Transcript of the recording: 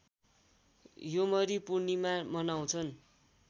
योमरी पूर्णिमा मनाउँछन्